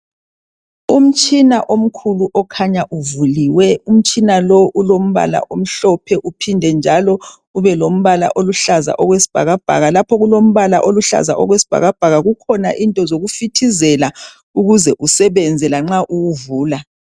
umtshina omkhulu okhanya uvuliwe umtshina lo ulombala omhlophe uphinde njalo ube lombala oluhlaza okwesibhakabhaka lapho okulombala oluhlaza okwesibhakabhaka kukhona into zokufithizela ukuze usebenze lanxa uwuvula